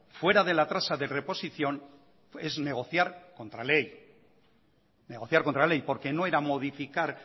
fuera de la tasa de reposición es negociar contra ley porque no era modificar